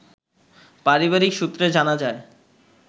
পারিবারিক সূত্রে জানা যায়